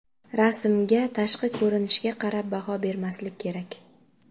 Rasmga, tashqi ko‘rinishga qarab baho bermaslik kerak.